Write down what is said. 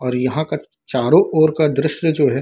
और यहाँ का चारो ओर का दृश्य जो है --